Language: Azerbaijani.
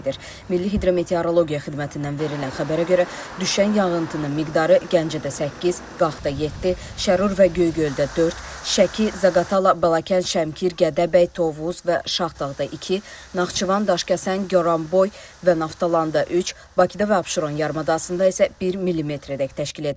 Milli hidrometeorologiya xidmətindən verilən xəbərə görə düşən yağıntının miqdarı Gəncədə 8, Qaxda 7, Şərur və Göygöldə 4, Şəki, Zaqatala, Balakən, Şəmkir, Gədəbəy, Tovuz və Şahdağda 2, Naxçıvan, Daşkəsən, Goranboy və Naftalanda 3, Bakıda və Abşeron yarımadasında isə 1 millimetrədək təşkil edib.